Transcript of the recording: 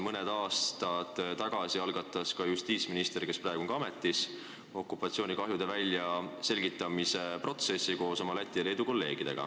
Mõni aasta tagasi algatas justiitsminister, kes praegu on ka ametis, koos oma Läti ja Leedu kolleegiga okupatsioonikahjude väljaselgitamise protsessi.